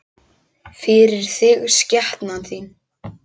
FYRIR ÞIG, SKEPNAN ÞÍN!